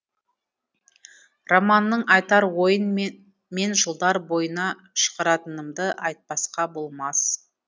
романның айтар ойын мен жылдар бойына шығаратынымды айтпасқа болмас